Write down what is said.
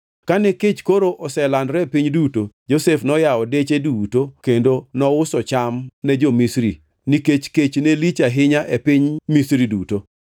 Kane kech koro oselandore e piny duto, Josef noyawo deche duto kendo nouso cham ne jo-Misri, nikech kech ne lich ahinya e pinyno Misri duto.